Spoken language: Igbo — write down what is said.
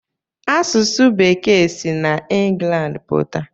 Asụsụ bekee si n'England pụta?